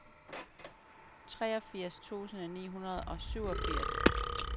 treogfirs tusind ni hundrede og syvogfirs